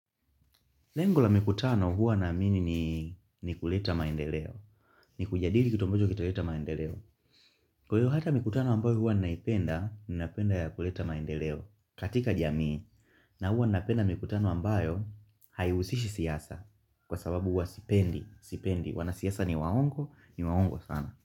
Lengo la mikutano huwa naamini ni kuleta maendeleo. Ni kujadili kitu ambocho kitaleta maendeleo. Kwa hiyo hata mikutano ambayo huwa ninaipenda, ninaipenda ya kuleta maendeleo. Katika jamii, na huwa ninaipenda mikutano ambayo, haihusishi siasa. Kwa sababu huwa sipendi, sipendi. Wanasiasa ni waongo, ni waongo sana.